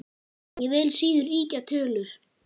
Ég vil síður ýkja tölur.